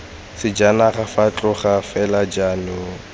sejanaga fa tloga fela jaanong